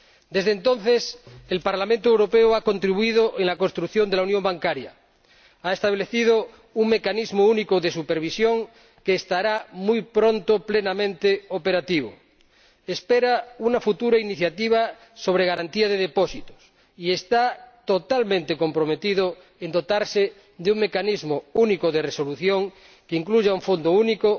Desde entonces el Parlamento Europeo ha contribuido a la construcción de la unión bancaria, ha establecido un Mecanismo Único de Supervisión que estará muy pronto plenamente operativo, espera una futura iniciativa sobre garantía de depósitos y se ha comprometido totalmente a que la Unión se dote de un Mecanismo Único de Resolución que incluya un fondo único